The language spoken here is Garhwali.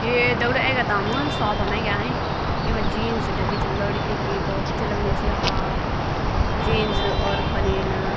यु ये दगडियों एग्यां त हम शॉप म एग्यां येमा जीन्स टंकी छिन लड़कियों की भौत अच्छी लगणीं छिन अहा जीन्स और बनियन --